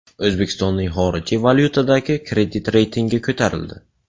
O‘zbekistoning xorijiy valyutadagi kredit reytingi ko‘tarildi.